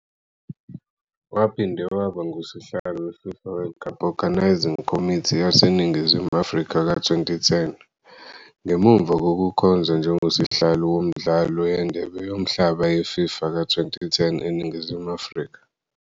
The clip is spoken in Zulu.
Waphinde waba nguSihlalo we-FIFA World Cup Organizing Committee yaseNingizimu Afrika ka-2010, ngemuva kokukhonza njengoSihlalo woMidlalo yeNdebe Yomhlaba ye-FIFA ka-2010 eNingizimu Afrika.